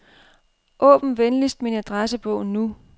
Åbn venligst min adressebog nu.